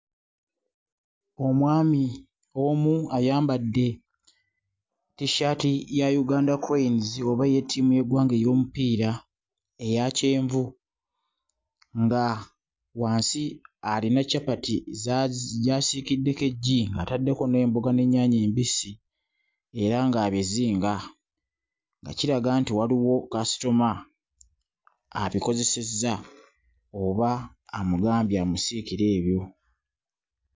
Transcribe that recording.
Omwami omu ayambadde T-shirt ya Uganda cranes oba eya ttimu y'eggwanga ey'omupiira eya kyenvu nga wansi alina ccapati za gy'asiikiddeko eggi ataddeko n'emboga n'ennyanja embisi era ng'abizinga nga kiraga nti waliwo kasitoma abikozesezza oba amugambye amusiikire ebyo.